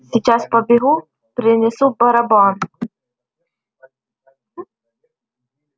сейчас побегу принесу барабан